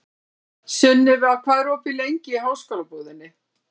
Sunniva, hvað er opið lengi í Háskólabúðinni?